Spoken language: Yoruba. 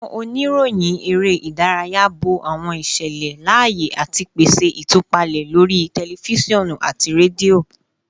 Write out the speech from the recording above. Awọn oniroyin ere idaraya bo awọn iṣẹlẹ laaye ati pese itupalẹ lori tẹlifisiọnu ati redio